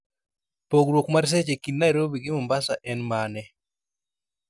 pogruok mar seche kind nairobi gi mombasa en mane